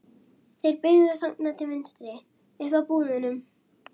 Þeir beygðu þarna til vinstri. upp að búðunum.